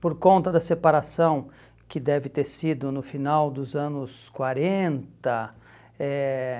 Por conta da separação que deve ter sido no final dos anos quarenta, eh